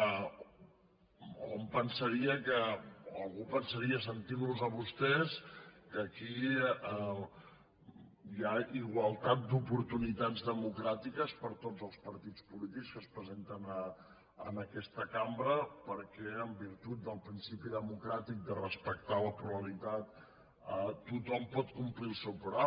algú pensaria sentint los a vostès que aquí hi ha igualtat d’oportunitats democràtiques per a tots els partits polítics que es presenten a aquesta cambra perquè en virtut del principi democràtic de respectar la pluralitat tothom pot complir el seu programa